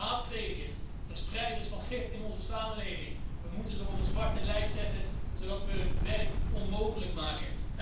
Haatpredikers, verspreiders van gif in onze samenleving, we moeten ze op een zwarte lijst zetten zodat we hun werk onmogelijk maken.